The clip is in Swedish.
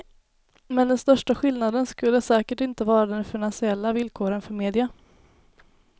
Men den största skillnaden skulle säkert inte vara de finansiella villkoren för media.